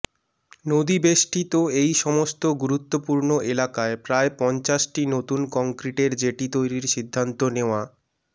নদীবেষ্টিত এই সমস্ত গুরুত্বপূর্ণ এলাকায় প্রায় পঞ্চাশটি নতুন কংক্রিটের জেটি তৈরির সিদ্ধান্ত নেওয়া